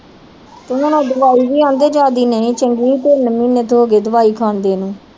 ਉਹ ਹੁਣ ਦਵਾਈ ਵੀ ਆਂ ਆਂਦੇ ਜਿਆਦੀ ਨਹੀਂ ਚੰਗੀ ਤਿੰਨ ਮਹੀਨੇ ਤਾ ਹੋ ਗਏ ਦਵਾਈ ਖਾਂਦੇ ਨੂੰ।